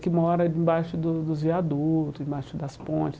que mora embaixo do dos viadutos, embaixo das pontes.